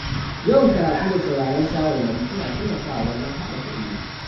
Yawan karatu da sauraron shawarwari suna taimakawa wajen haɓaka ilimi.